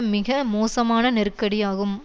மிக மோசமான நெருக்கடியாகும்